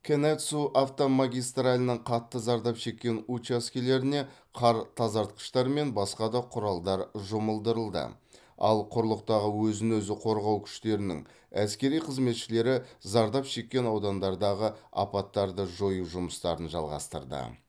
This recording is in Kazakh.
канэцу автомагистралінің қатты зардап шеккен учаскелеріне қар тазартқыштар мен басқа да құралдар жұмылдырылды ал құрлықтағы өзін өзі қорғау күштерінің әскери қызметшілері зардап шеккен аудандардағы апаттарды жою жұмыстарын жалғастырды